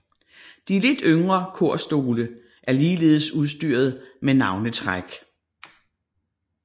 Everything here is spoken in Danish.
De lidt yngre korstole er ligeledes udstyret med navnetræk